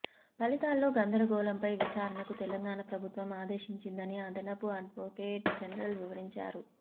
ఫలితాల్లో గందరగోళంపై విచారణకు తెలంగాణ ప్రభుత్వం ఆదేశించిందని అదనపు అడ్వొకేట్ జనరల్ వివరించారు